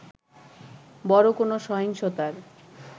বড় কোন সহিংসতার